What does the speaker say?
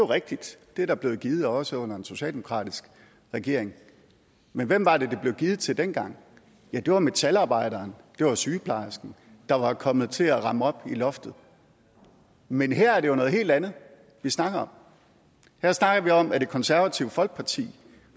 rigtigt at det er der blevet givet også under en socialdemokratisk regering men hvem var det de blev givet til dengang ja det var metalarbejderen det var sygeplejersken der var kommet til at ramme loftet men her er det jo noget helt andet vi snakker om her snakker vi om at det konservative folkeparti